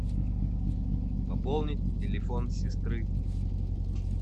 пополнить телефон сестры